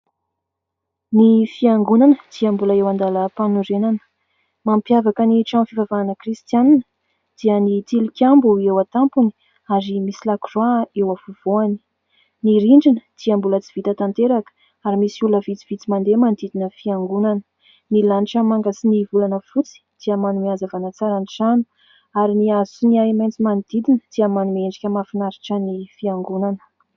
Ny fiangonana dia mbola eo an-dalam-panorenana, mampiavaka ny trano fivavahana Kristiana dia ny tilikambo eo an-tampony ary misy lakoroa eo afovoany, ny rindrina dia mbola tsy vita tanteraka ary misy olona vitsivitsy mandeha manodidina fiangonana, ny lanitra manga sy ny volana fotsy tia manome hazavana tsara ny trano ary ny hazo sy ahi-maitso manodidina dia manome endrika mahafinaritra ny fiangonana.